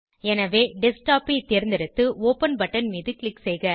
எனவே டெஸ்க்டாப் ஐ தேர்ந்தெடுத்து ஒப்பன் பட்டன் மீது க்ளிக் செய்க